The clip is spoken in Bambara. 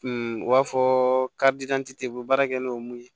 u b'a fɔ u bɛ baara kɛ n'o mun ye